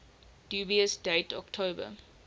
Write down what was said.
dubious date october